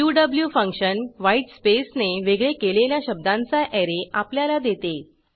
Q function white स्पेसने वेगळे केलेल्या शब्दांचा ऍरे आपल्याला देते